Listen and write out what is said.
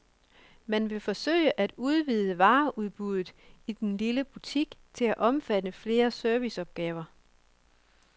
Man vil forsøge at udvide vareudbuddet i den lille butik til at omfatte flere serviceopgaver.